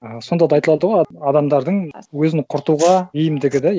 аха сонда да айтылады ғой адамдардың өзін құртуға бейімдігі да